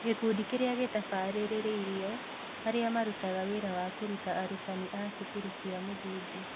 Gĩkundi kĩrĩa gĩtabarĩrĩirio: Arĩa marutaga wĩra wa kũruta arutani a cukuru cia mũthingi.